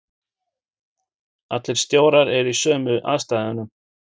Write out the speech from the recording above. Allir stjórar eru í sömu aðstæðunum.